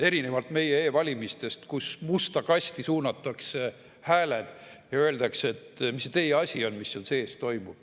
Erinevalt meie e-valimistest, kus hääled suunatakse musta kasti ja öeldakse: "Mis see teie asi on, mis seal sees toimub?